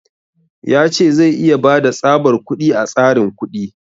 Ya ce zai iya bada tsabar kuɗi a tsarin kuɗi.